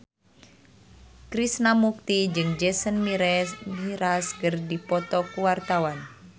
Krishna Mukti jeung Jason Mraz keur dipoto ku wartawan